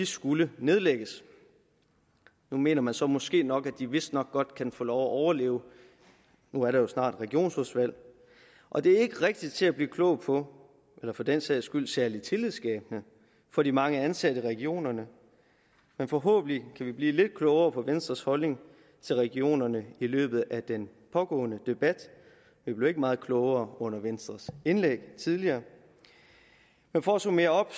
skulle nedlægges nu mener man så måske nok at de vistnok godt kan få lov at overleve nu er der jo snart regionsrådsvalg og det er ikke rigtig til at blive klog på eller for den sags skyld særlig tillidsskabende for de mange ansatte i regionerne men forhåbentlig kan vi blive lidt klogere på venstres holdning til regionerne i løbet af den pågående debat vi blev ikke meget klogere grund af venstres indlæg tidligere men for at summere op